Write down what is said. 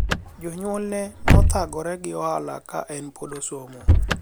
jonyuol ne nothagore gi ohala ka en pod osomo